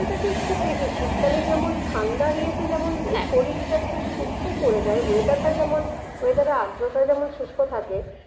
খুব বেশি শীতকালে যেমন ঠান্ডার ইয়েতে যেমন শরীরটা একটু শুষ্ক করে দেয় weather টা যেমন weather এর আর্দ্রতা যেমন শুষ্ক থাকে